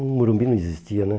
O Morumbi não existia, né?